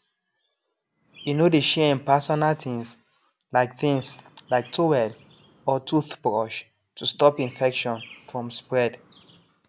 e no dey share im personal things like things like towel or toothbrush to stop infection from spread